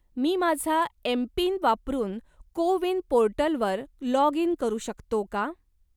मी माझा एम.पिन वापरून CoWIN पोर्टलवर लॉग इन करू शकतो का?